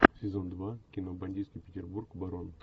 сезон два кино бандитский петербург барон